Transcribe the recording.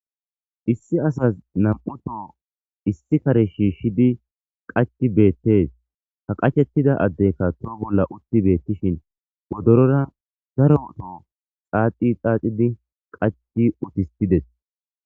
issi asas nam7uto issi kare shiishshidi qachi beettes ha qachettida addeykka too bolla utti beettishin wodorora zaro to xaaqi xaacidi qachi utistides